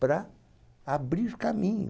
para abrir caminho.